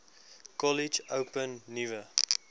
kollege open nuwe